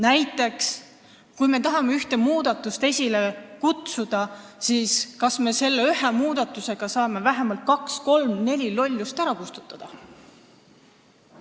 Näiteks, kui me tahame ühte muudatust esile kutsuda, siis kas me selle ühe muudatusega saame vähemalt kaks, kolm või neli lollust ära kustutada?